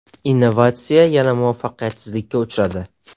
Innovatsiya yana muvaffaqiyatsizlikka uchradi.